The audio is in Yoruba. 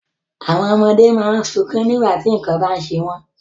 Àwọn ọmọdé má ń sunkún nígbà tí nǹkan bá ń ṣe wọ́n